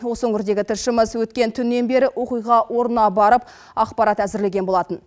осы өңірдегі тілшіміз өткен түннен бері оқиға орнына барып ақпарат әзірлеген болатын